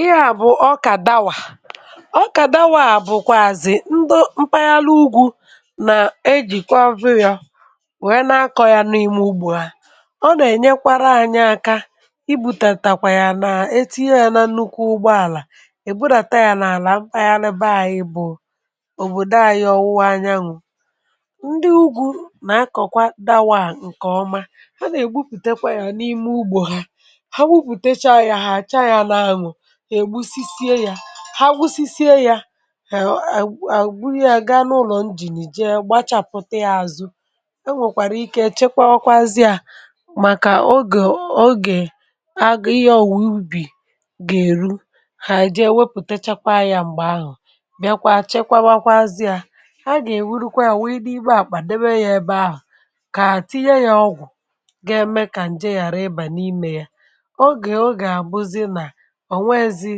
Ihè a bụ ọkà dàwà. Ọkà dàwà bụ̀kwà ndụ. Mpaghara ugwu nà-eji kwa zụrụ yà. Ha nwèrè nakọ ya n’ímè ugbò ha. Ọ nà-enyekwara ànyị aka ibùtàtàkwà ya, nà etinye ya nà nnukwu ugbò àlà. Ìbụdàta ya n’álà mpaghara ebe ànyị bụ obodo ànyị um Ọwụwa Anyanwụ, ndị ugwu nà-akọkwa dàwà. Ndị nkèọma, ha nà-egbupùtekwa ya n’ímè ugbò ha. E gbusisìe yà, ha gbusisìe yà, e, e, ebu ya gaa n’ụlọ̀ njìnìje, gbatàpụ̀ta ya, àzụ... E nwekwara ike chekwaa azịà, màkà oge-oge. Ọ bụ mgbe ìyà òwùwè ubi gà eru, ha jì ewepụ̀techekwa yà. M̀gbè ahụ̀, bịakwa chekwaa azịà. A gà-ewurukwa yà, wèe dị ìbẹ, àkpà, debe ya ebe ahụ̀, kà àtìnye yà ọgwụ̀. Nke ahụ̀ gà-eme kà.. ǹje ghàrà ịbà n’ímè ya. Oge-oge a, àbụzì nà nwee ezi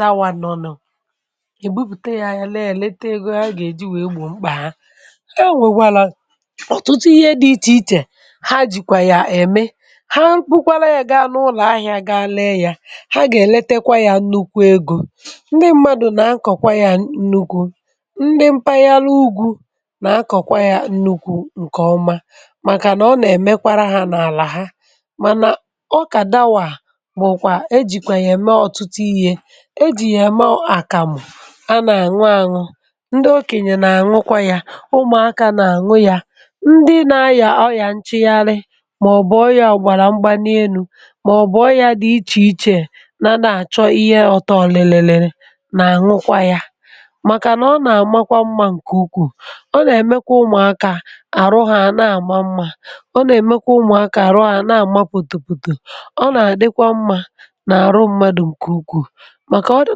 law. Nọ nọ̀ um egbupùte ya. Ya lèe, èlete ego ha gà-eji wèe ugbò mkpà ha. Yà nwèwala ọ̀tùtụ ihe(um) dị iche iche, ha jìkwà yà eme. Ha kpukwara ya, gà-anọ̀ n’ụlọ̀ ahìạ, gà-alee ya. Ha gà-elètekwa ya nnukwu egò. Ndị mmadụ nà-akọkwa ya nnukwu, ndị mpaghara ugwu nà-akọkwa ya nnukwu...Ǹkèọma, màkànà ọ nà-emekwa ha n’álà ha. E jìkwè yà eme ọ̀tùtụ ihe. E jì yà eme àkàmụ̀, a nà-àṅụ àṅụ. Ndị okènyè nà-àṅụkwa yà, ụmụ̀akà nà-àṅụkwa yà. Ndị na-ayà ọyà, nchigharị, màọ̀bụ̀ ọyà ọ̀gbàrà mgbani énu̇, màọ̀bụ̀ ọyà dị iche iche nà na-achọ ihe ọtọlì, lère, lère, nà-àṅụkwa yà. um Màkànà ọ nà-àma mma nke ukwuu. Ọ nà-emekwa ụmụ̀akà àrụ um ha, àna-àma mma. Ọ nà-emekwa ụmụ̀akà àrụ.. ha, àna-àmapụ̀tụ̀pụ̀tụ̀ n’àrụ mmadụ. Nkè ukwu màkà ọdụ,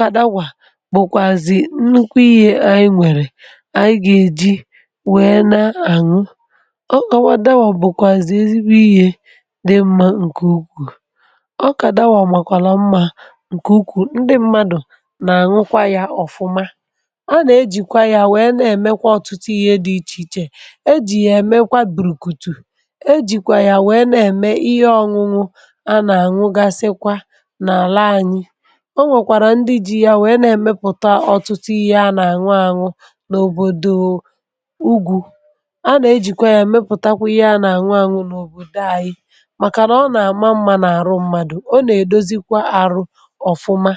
ka dàwà bụ̀kwàzì nnukwu ihè ànyị nwèrè. Ànyị gà-eji wèe nà-àṅụ ọ̀ọwa. Dàwà bụ̀kwàzì um ezi nwe ihè dị mma. Nkè ukwu. Ọkà dàwà màkwàla mma nkè ukwu. Ndị mmadụ nà-àṅụkwa ya ọ̀fụma. A nà-ejikwa ya wèe nà-emekwa ọ̀tùtụ ihe dị iche iche. Ejì ya emekwa bùrùkùtù. Ejìkwa ya um wèe nà-eme ihe ọṅụṅụ a nà-àṅụ. Gasịkwa, ọ nwèrè ndị ji ya wèe nà-emepùtà ọtụtụ ihe a nà-àṅụ àṅụ n’òbòdo ugwu. A nà-ejikwa ya emepùtàkwa ihe a nà-àṅụ àṅụ n’òbòdo ànyị. Màkànà ọ nà-àma mma n’ọrụ mmadụ. um.. Ọ nà-edozikwa arụ ọ̀fụma.